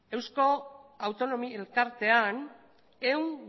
eusko autonomi elkartean ehun